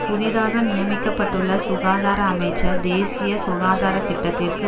புதிதாக நியமிக்கப்பட்டுள்ள சுகாதார அமைச்சர் தேசிய சுகாதாரத்திட்டத்திற்கு